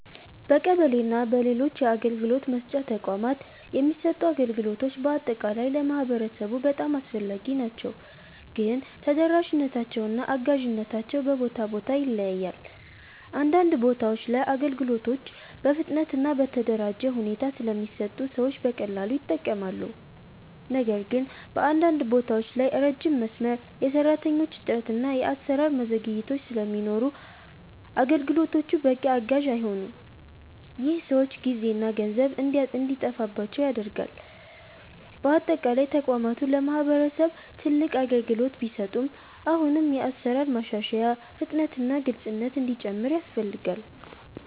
በቀበሌ እና በሌሎች የአገልግሎት መስጫ ተቋማት የሚሰጡ አገልግሎቶች በአጠቃላይ ለማህበረሰቡ በጣም አስፈላጊ ናቸው፣ ግን ተደራሽነታቸው እና አጋዥነታቸው በቦታ ቦታ ይለያያል። አንዳንድ ቦታዎች ላይ አገልግሎቶች በፍጥነት እና በተደራጀ ሁኔታ ስለሚሰጡ ሰዎች በቀላሉ ይጠቀማሉ። ነገር ግን በአንዳንድ ቦታዎች ላይ ረጅም መስመር፣ የሰራተኞች እጥረት እና የአሰራር ዘግይቶች ስለሚኖሩ አገልግሎቶቹ በቂ አጋዥ አይሆኑም። ይህ ሰዎች ጊዜና ገንዘብ እንዲጠፋባቸው ያደርጋል። በአጠቃላይ ተቋማቱ ለማህበረሰብ ትልቅ አገልግሎት ቢሰጡም አሁንም የአሰራር ማሻሻያ፣ ፍጥነት እና ግልፅነት እንዲጨምር ያስፈልጋል።